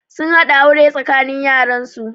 Sun haɗa aure tsakanin yaran su